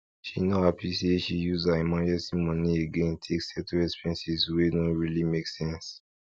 she no happy say she use her emergency money again take settle expenses wey no really make sense